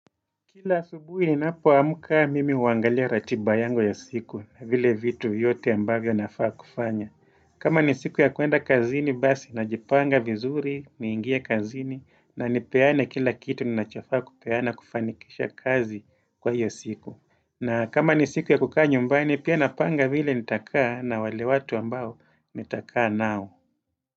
Kila asubuhi ninapo amka, mimi huangalia ratiba yangu ya siku vile vitu yote ambavyo nafaa kufanya kama ni siku ya kuenda kazini basi najipanga vizuri niingie kazini na nipeane kila kitu ninachofaa kupeana kufanikisha kazi kwa hiyo siku na kama ni siku ya kukaa nyumbani pia napanga vile nitakaa na wale watu ambao nitakaa nao.